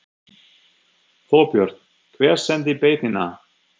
Þorbjörn: Hver sendi beiðnina?